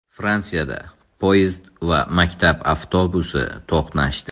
Fransiyada poyezd va maktab avtobusi to‘qnashdi.